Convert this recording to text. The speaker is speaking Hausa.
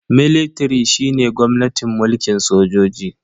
Military shine gwamnatin mulkin sojoji.